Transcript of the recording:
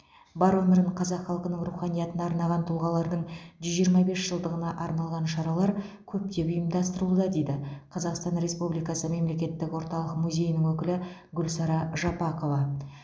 бар өмірін қазақ халқының руханиятына арнаған тұлғалардың жүз жиырма бес жылдығына арналған шаралар көптеп ұйымдастырылуда дейді қазақстан республикасы мемлекеттік орталық музейінің өкілі гүлсара жапақова